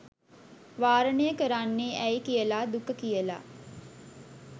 වාරණය කරන්නෙ ඇයි කියලා දුක කියලා